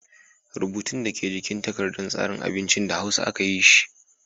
Rubutun da ke jikin takardar tsarin abincin, da hausa aka yi shi.